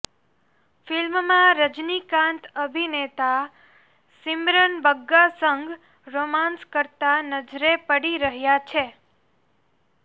ફિલ્મમાં રજનીકાંત અભિનેતા સિમરન બગ્ગા સંગ રોમાંસ કરતા નજરે પડી રહ્યા છે